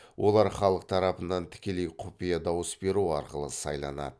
олар халық тарапынан тікелей құпия дауысберу арқылы сайланады